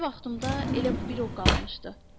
Göycə vaxtımda elə bir o qalmışdı.